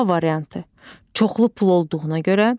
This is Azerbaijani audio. A variantı: Çoxlu pul olduğuna görə.